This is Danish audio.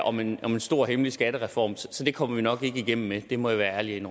om en en stor hemmelig skattereform så det kommer vi nok ikke igennem med må jeg være ærlig